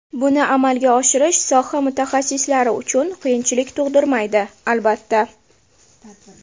Buni amalga oshirish soha mutaxassislari uchun qiyinchilik tug‘dirmaydi, albatta.